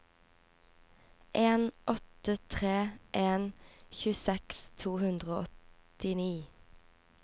en åtte tre en tjueseks to hundre og åttini